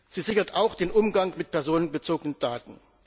Sie sichert auch den Umgang mit personenbezogenen Daten.